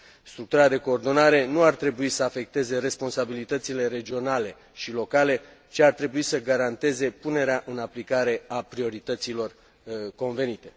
Structura de coordonare nu ar trebui să afecteze responsabilitățile regionale și locale, ci ar trebui să garanteze punerea în aplicare a priorităților convenite.